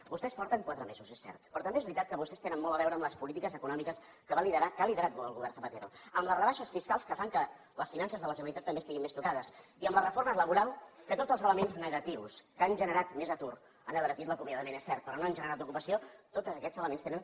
vostès porten quatre mesos és cert però també és veritat que vostès tenen molt a veure amb les polítiques econòmiques que va liderar que ha liderat el govern zapatero amb les rebaixes fiscals que fan que les finances de la generalitat també estiguin més tocades i amb la reforma laboral que tots els elements negatius que han generat més atur han abaratit l’acomia dament és cert però no han generat ocupació tots aquests elements tenen el seu segell